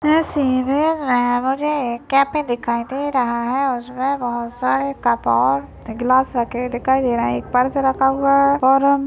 इस इमेज मे मुझे एक कैफे दिखाई दे रहा है यहाँ पर सारे कप और ग्लास रखे हुए दिखाई दे रहे है एक पर्स रखा हुआ हैं और--